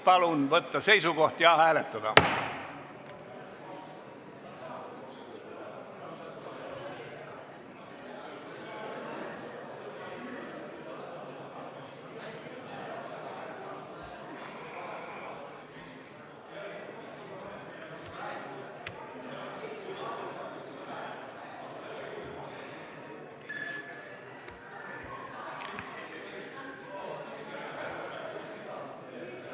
Palun võtta seisukoht ja hääletada!